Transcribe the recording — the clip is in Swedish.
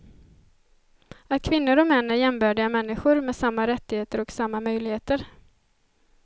Att kvinnor och män är jämbördiga människor med samma rättigheter och samma möjligheter.